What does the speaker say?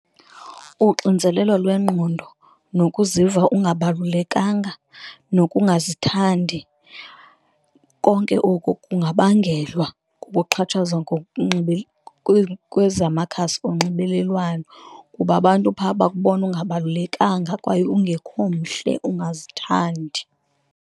Uxinzelelo lwengqondo nokuziva ungabalulekanga nokungazithandi, konke oku kungabangelwa kukuxhatshazwa kwezamakhasi onxibelelwano, kuba abantu phaa bakubona ungabalulekanga kwaye ungekho mhle ungazithandi.